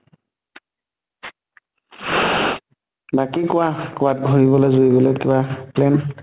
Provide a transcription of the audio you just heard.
বাকী কোৱা কবাত ঘুৰিবলৈ যুৰিবলৈ কিবা plan?